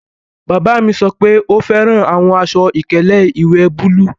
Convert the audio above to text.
Bàbá mi sọ pé ó fẹ́ran awọn àṣọ-ìkẹlẹ̀ iwẹ́ búlúù.